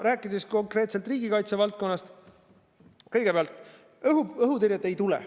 Rääkides konkreetselt riigikaitse valdkonnast, siis kõigepealt, õhutõrjet ei tule.